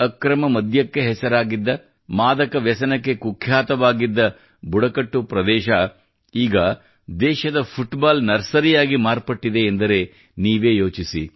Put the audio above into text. ಅಕ್ರಮ ಮದ್ಯಕ್ಕೆ ಹೆಸರಾಗಿದ್ದ ಮಾದಕ ವ್ಯಸನಕ್ಕೆ ಕುಖ್ಯಾತವಾಗಿದ್ದ ಬುಡಕಟ್ಟು ಪ್ರದೇಶ ಈಗ ದೇಶದ ಫುಟ್ಬಾಲ್ ನರ್ಸರಿಯಾಗಿ ಮಾರ್ಪಟ್ಟಿದೆ ಎಂದರೆ ನೀವೇ ಯೋಚಿಸಿ